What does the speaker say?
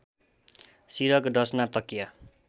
सिरक डसना तकिया